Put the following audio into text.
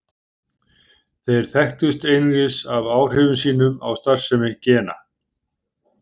Þeir þekktust einungis af áhrifum sínum á starfsemi gena.